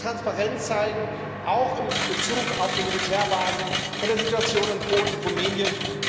Europa muss Transparenz zeigen, auch in Bezug auf die Militärbasen und die Situation in Polen und Rumänien.